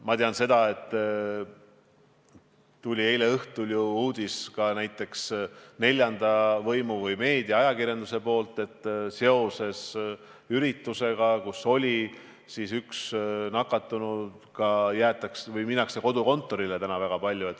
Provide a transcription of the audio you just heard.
Ma tean seda, et eile õhtul tuli neljandalt võimult ehk meedialt, ajakirjanduselt uudis, et seoses üritusega, kus oli üks nakatunu, lähevad täna väga paljud üle kodukontoritööle.